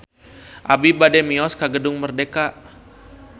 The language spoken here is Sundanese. Abi bade mios ka Gedung Merdeka